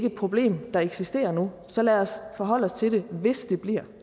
et problem der eksisterer nu så lad os forholde os til det hvis det bliver